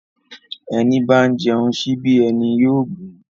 Èní bá ń jẹun síbí, èní yóò gún.